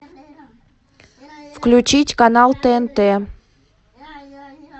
включить канал тнт